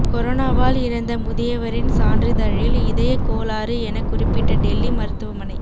கொரோனாவால் இறந்த முதியவரின் சான்றிதழில் இதயக் கோளாறு என குறிப்பிட்ட டெல்லி மருத்துவமனை